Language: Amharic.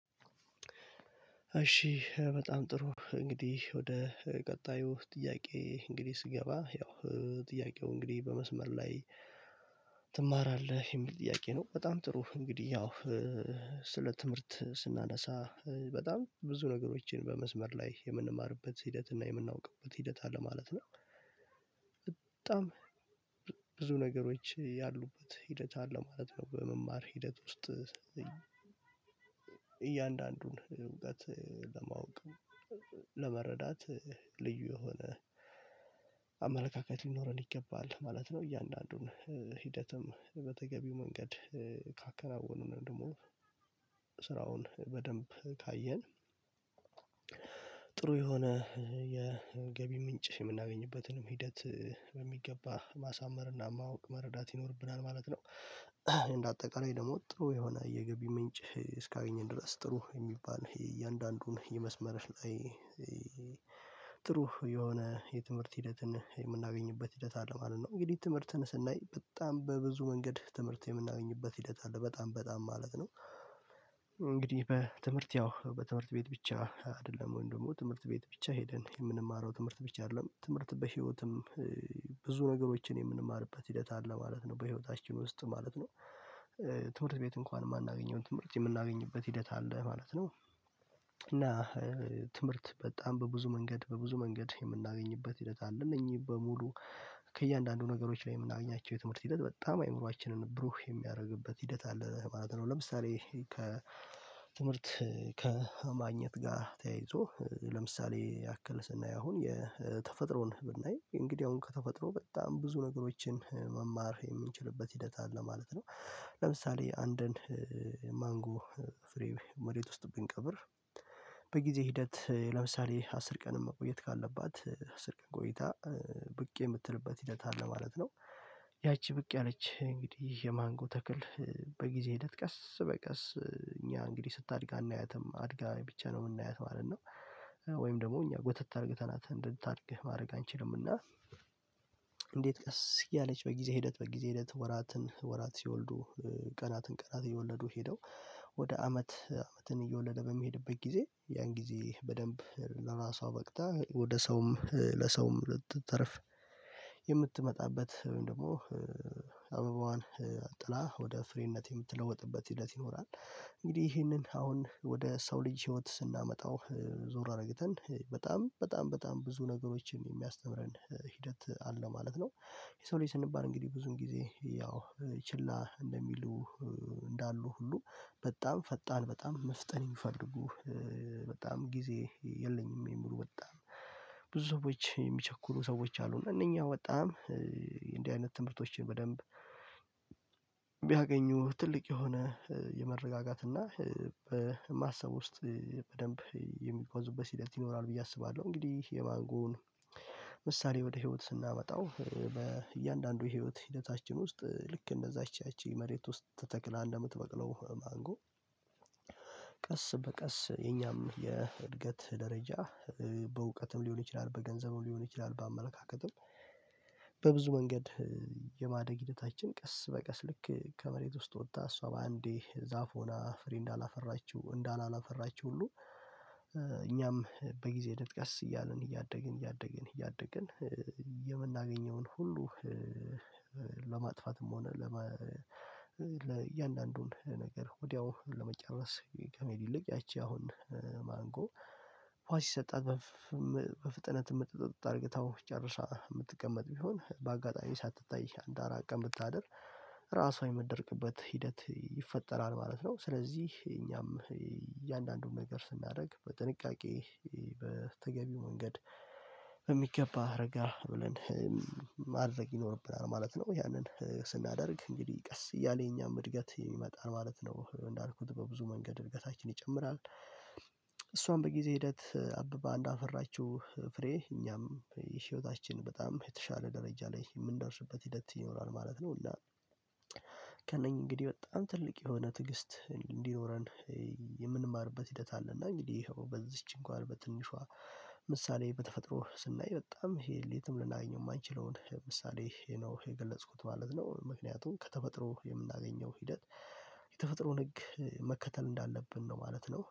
እሺ በጣም ጥሩ እንግዲህ ወደ ቀጣዩ ጥያቄ እንግዲህ ስገባ ያው ጥያቄው እንግዲህ በመስመር ላይ ትማራለህ የሚል ጥያቄ ነው። በጣም ጥሩ እንግዲህ ያው። ስለ ትምህርት ስናነሳ በጣም ብዙ ነገሮችን በመስመር ላይ የምንማርበት ሂደት እና የምናውቅበት ሂደት አለ ማለት ነው። በጣም ብዙ ነገሮች ያሉበት ሂደት አለ ማለት ነው። በመማር ሂደት ውስጥ እያንዳንዱን እውቀት ለማወቅ ለመረዳት ልዩ የሆነ አመለካከት ሊኖረን ይገባል ማለት ነው። እያንዳንዱን ሂደትም በተገቢው መንገድ ካከናወን ወይም ደግሞ ስራውን በደንብ ካየን። ጥሩ የሆነ የገቢ ምንጭ የምናገኝበትንም ሂደት በሚገባ ማሳመር እና ማወቅ መረዳት ይኖርብናል ማለት ነው። እንደ አጠቃላይ ደግሞ ጥሩ የሆነ የገቢ ምንጭ እስካገኘን ድረስ ጥሩ የሚባል የእያንዳንዱን የመስመርሽ ላይ። ጥሩ የሆነ የትምህርት ሂደትን የምናገኝበት ሂደት አለ ማለት ነው። እንግዲህ ትምህርትን ስናይ በጣም በብዙ መንገድ ትምህርት የምናገኝበት ሂደት አለ በጣም በጣም ማለት ነው። እንግዲህ በትምህርት ያው በትምህርት ቤት ብቻ አይደለም ወይም ደግሞ ትምህርት ቤት ብቻ ሄደን የምንማረው ትምህርት ብቻ አይደለም ትምህርት በህይወትም ብዙ ነገሮችን የምንማርበት ሂደት አለ ማለት ነው። በህይወታችን ውስጥ ማለት ነው። ትምህርት ቤት እንኳን የማናገኘውን ትምህርት የምናገኝበት ሂደት አለ ማለት ነው። እና ትምህርት በጣም በብዙ መንገድ በብዙ መንገድ የምናገኝበት ሂደት አለ። እነኚህ በሙሉ ከእያንዳንዱ ነገሮች ላይ የምናገኛቸው የትምህርት ሂደት በጣም አይምሮአችንን ብሩህ የሚያደርግበት ሂደት አለ ማለት ነው። ለምሳሌ ትምህርት ከማግኘት ጋር ተያይዞ ለምሳሌ ያክል ስናይ አሁን የተፈጥሮን ብናይ እንግዲህ አሁን ከተፈጥሮ በጣም ብዙ ነገሮችን መማር የምንችልበት ሂደት አለ ማለት ነው። ለምሳሌ አንድን ማንጎ ፍሬ መሬት ውስጥ ብንቀብር በጊዜ ሂደት ለምሳሌ አስር ቀን መቆየት ካለባት ስልክን ቆይታ ብቅ የምትልበት ሂደት አለ ማለት ነው። ያቺ ብቅ ያለች እንግዲህ የማንጎ ተክል በጊዜ ሂደት ቀስ በቀስ እኛ እንግዲህ ስታድግ እናያትም አድጋ ብቻ ነው የምናያት ማለት ነው። ወይም ደግሞ እኛ ጎተት አርግተህናት እንድታድግ ማረግ አንችልም እና። እንዴት ቀስ እያለች በጊዜ ሂደት በጊዜ ሂደት ወራትን ወራት ሲወልዱ ቀናትን ቀናት እየወለዱ ሄደው ወደ አመት አመትን እየወለደ በሚሄድበት ጊዜ ያን ጊዜ በደንብ ለራሷ በቅታ ወደ ሰውም ለሰውም ልትተረፍ የምትመጣበት ወይም ደግሞ አበባዋን ጥላ ወደ ፍሬነት የምትለወጥበት ሂደት ይኖራል። እንግዲህ ይህንን አሁን ወደ ሰው ልጅ ህይወት ስናመጣው ዞር አርገተን በጣም በጣም በጣም ብዙ ነገሮችን የሚያስተምረን ሂደት አለ ማለት ነው። የሰው ልጅ ስንባል እንግዲህ ብዙም ጊዜ ያው ችላ እንደሚሉ እንዳሉ ሁሉ በጣም ፈጣን በጣም መፍጠን የሚፈልጉህ በጣም ጊዜ የለኝም የሚሉ በጣም ብዙ ሰዎች የሚቸኩሉ ሰዎች አሉ። እነኛ በጣም እንደህ አይነት ትምህርቶችን በደንብ ቢያገኙ ትልቅ የሆነ የመረጋጋት እና በማሰብ ውስጥ በደንብ የሚጓዙበት ሂደት ይኖራል ብዬ አስባለሁ። እንግዲህ የማንጎን ምሳሌ ወደ ህይወት ስናመጣው በእያንዳንዱ የህይወት ሂደታችን ውስጥ ልክ እንደዛች ያቺ መሬት ውስጥ ተተክላ እንደምትበቅለው ማንጎ። ቀስ በቀስ የኛም የእድገት ደረጃ በእውቀትም ሊሆን ይችላል በገንዘቡ ሊሆን ይችላል በአመለካከትም በብዙ መንገድ የማደግ ሂደታችን ቀስ በቀስ ልክ ከመሬት ውስጥ ወጥታ እሷ በአንዴ ዛፍ ሆና ፍሬ እንዳላፈራችው እንዳላላፈራችው ሁሉ። እኛም በጊዜ ሂደት ቀስ እያልን እያደግን እያደግን እያደግን የምናገኘውን ሁሉ። ለማጥፋትም ሆነ ለእያንዳንዱን ነገር ወዲያው ለመጨረስ ከመሄድ ይልቅ ያቺ አሁን ማንጎ ዉሃ ሲሰጠን በፍጥነት እምጥጥጥ አርገታው ጨርሳ ምትቀመጥ ቢሆን በአጋጣሚ ሳትታይ አንድ አራት ቀን ብታድር ራሷን የምትደርቅበት ሂደት ይፈጠራል። ማለት ነው ስለዚህ እኛም እያንዳንዱን ነገር ስናደርግ በጥንቃቄ በተገቢ መንገድ በሚገባ እረጋ ብለን ማድረግ ይኖርብናል ማለት ነው። ያንን ስናደርግ እንግዲህ ቀስ እያለ የኛም እድገት የሚመጣን ማለት ነው እንዳልኩት በብዙ መንገድ እድገታችን ይጨምራል። እሷም በጊዜ ሂደት አብባ እንዳፈራችው ፍሬ እኛም ይህ ህይወታችን በጣም የተሻለ ደረጃ ላይ የምንደርስበት ሂደት ይኖራል ማለት ነው። እና። ከእነኚህ እንግዲህ በጣም ትልቅ የሆነ ትግስት እንዲኖረን የምንማርበት ሂደት አለና እንግዲህ በዚች እንኳን በትንሿ ምሳሌ በተፈጥሮ ስናይ በጣም ሊል የትም ልናገኘው የማንችለውን ምሳሌ ይሄ ነው የገለጽኩት ማለት ነው። ምክንያቱም ከተፈጥሮ የምናገኘው ሂደት የተፈጥሮ ህግ መከተል እንዳለብን ነው ማለት ነው